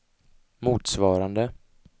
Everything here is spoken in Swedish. motsvarande